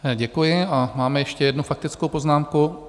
Děkuji a máme ještě jednu faktickou poznámku.